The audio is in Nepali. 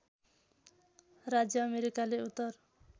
राज्य अमेरिकाले उत्तर